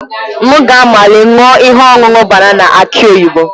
M ga-anwale ṅụọ ihe ọṅụṅụ banana aki oyibo.